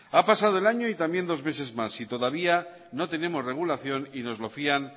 ha pasado el año y también dos meses más y todavía no tenemos regulación y nos lo fían